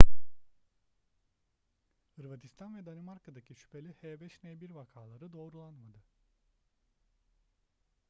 hırvatistan ve danimarka'daki şüpheli h5n1 vakaları doğrulanmadı